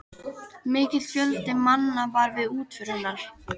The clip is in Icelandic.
Mikill fjöldi manna var við útför hennar.